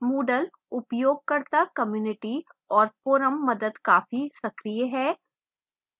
moodle उपयोगकर्ता community और forum मदद काफी सक्रिय है